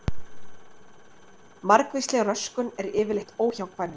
Margvísleg röskun er yfirleitt óhjákvæmileg.